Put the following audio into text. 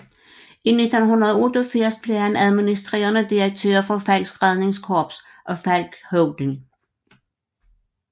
I 1988 blev han administrerende direktør for Falcks Redningskorps og Falck Holding